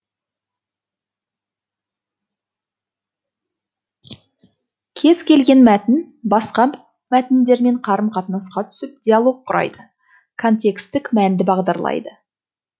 кез келген мәтін басқа мәтіндермен қарым қатынасқа түсіп диалог құрайды контекстік мәнді бағдарлайды